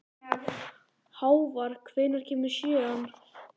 Hávar, hvenær kemur sjöan?